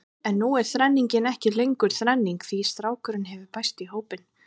En nú er þrenningin ekki lengur þrenning því strákurinn hefur bæst í hópinn.